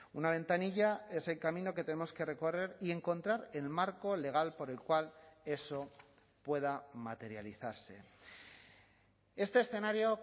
una ventanilla es el camino que tenemos que recorrer y encontrar el marco legal por el cual eso pueda materializarse este escenario